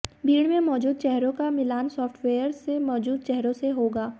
भीड़ में मौजूद चेहरों का मिलान सॉफ्टवेयर में मौजूद चेहरों से होगा